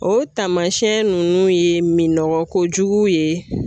O taamasiyɛn nunnu ye minɔgɔ kojugu ye.